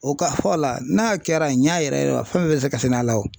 O ka fɔla n'a kɛra a ɲa yɛrɛ yɛrɛ ma fɛn bɛɛ bɛ se ka sɛnɛ a la o